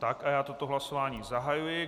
Tak, a já toto hlasování zahajuji.